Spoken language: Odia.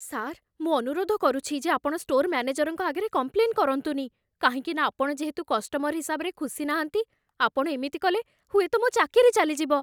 ସାର୍, ମୁଁ ଅନୁରୋଧ କରୁଛି ଯେ ଆପଣ ଷ୍ଟୋର୍ ମ୍ୟାନେଜରଙ୍କ ଆଗରେ କମ୍ପ୍ଲେନ୍ କରନ୍ତୁନି, କାହିଁକିନା ଆପଣ ଯେହେତୁ କଷ୍ଟମର୍ ହିସାବରେ ଖୁସି ନାହାନ୍ତି, ଆପଣ ଏମିତି କଲେ, ହୁଏତ ମୋ' ଚାକିରି ଚାଲିଯିବ ।